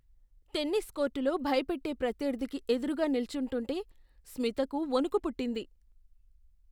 Tennis కోర్టులో భయపెట్టే ప్రత్యర్థికి ఎదురుగా నిల్చుంటుంటే స్మితకు వణుకు పుట్టింది.